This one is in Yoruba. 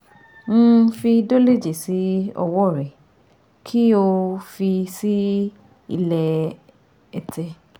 um Fi Dolage sí ọwọ́ rẹ kí o um fi sí ilẹ̀ ètè